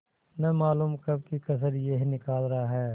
न मालूम कब की कसर यह निकाल रहा है